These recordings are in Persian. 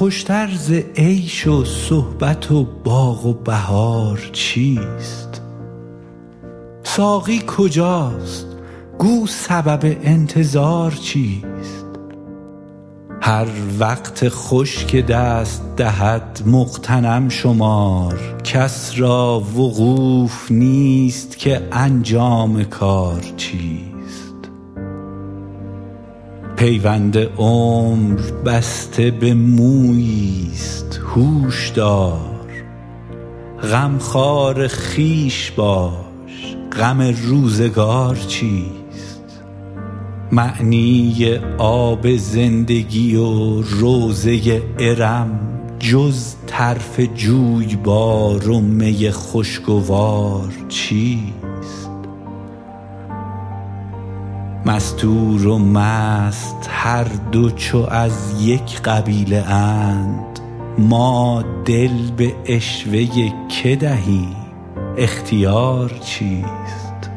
خوش تر ز عیش و صحبت و باغ و بهار چیست ساقی کجاست گو سبب انتظار چیست هر وقت خوش که دست دهد مغتنم شمار کس را وقوف نیست که انجام کار چیست پیوند عمر بسته به مویی ست هوش دار غمخوار خویش باش غم روزگار چیست معنی آب زندگی و روضه ارم جز طرف جویبار و می خوشگوار چیست مستور و مست هر دو چو از یک قبیله اند ما دل به عشوه که دهیم اختیار چیست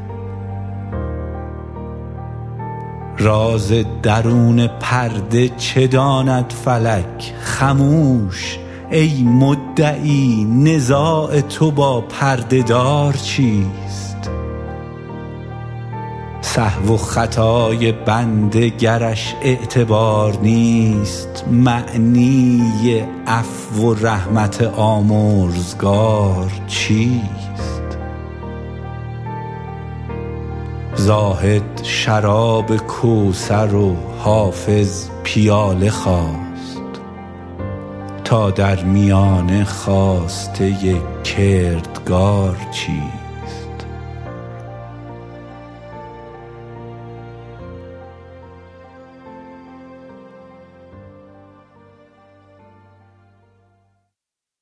راز درون پرده چه داند فلک خموش ای مدعی نزاع تو با پرده دار چیست سهو و خطای بنده گرش اعتبار نیست معنی عفو و رحمت آمرزگار چیست زاهد شراب کوثر و حافظ پیاله خواست تا در میانه خواسته کردگار چیست